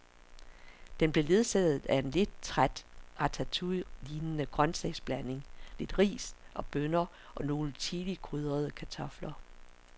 Den blev ledsaget af en lidt træt ratatouillelignende grøntsagsblanding, lidt ris og bønner og nogle chilikrydrede kartofler.